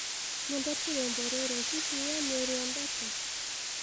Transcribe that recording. nyendete rwĩmbo rũrũ hĩhĩ we niuruendete